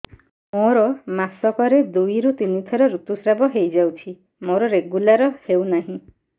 ମୋର ମାସ କ ରେ ଦୁଇ ରୁ ତିନି ଥର ଋତୁଶ୍ରାବ ହେଇଯାଉଛି ମୋର ରେଗୁଲାର ହେଉନାହିଁ